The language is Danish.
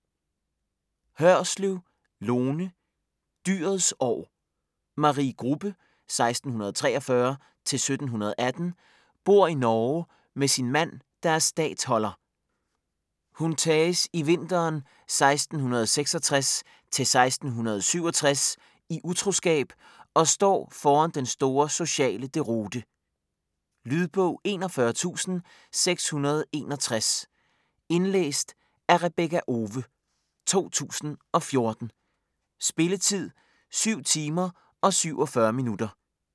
Hørslev, Lone: Dyrets år Marie Grubbe (1643-1718) bor i Norge med sin mand, der er statholder. Hun tages i vinteren 1666-1667 i utroskab og står foran den store sociale deroute. Lydbog 41661 Indlæst af Rebekka Owe, 2014. Spilletid: 7 timer, 47 minutter.